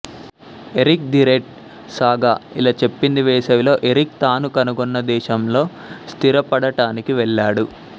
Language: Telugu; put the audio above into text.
ఎరిక్ ది రెడ్ సాగా ఇలా చెప్పింది వేసవిలో ఎరిక్ తాను కనుగొన్న దేశంలో స్థిరపడటానికి వెళ్లాడు